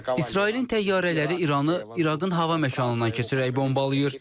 İsrailin təyyarələri İranı İraqın hava məkanından keçirərək bombalayır.